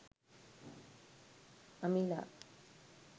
amila